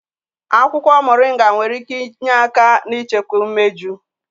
Akwukwo Moringa nwere ike inye aka n'ichekwa imeju.